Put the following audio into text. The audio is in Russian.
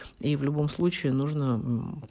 и в любом случае нужно